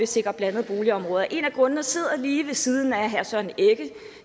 sikre blandede boligområder en af grundene sidder lige ved siden af herre søren egge